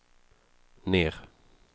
ner